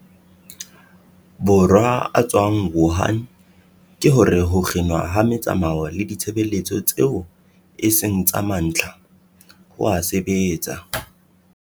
Borwa a tswang Wuhan ke hore ho kginwa ha metsamao le ditshebeletso tseo e seng tsa mantlha, ho a sebetsa.